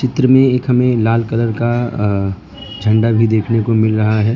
चित्र में एक हमें लाल कलर का अ झंडा भी देखने को मिल रहा है।